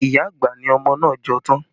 Iya àgbà ni ọmọ náà jọ tán